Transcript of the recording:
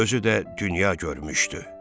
Özü də dünya görmüşdü.